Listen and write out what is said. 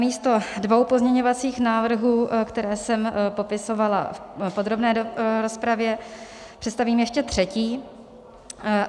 Namísto dvou pozměňovacích návrhů, které jsem popisovala v podrobné rozpravě, představím ještě třetí.